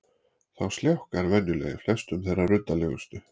Þá sljákkar venjulega í flestum þeim ruddalegustu